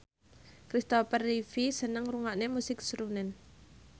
Kristopher Reeve seneng ngrungokne musik srunen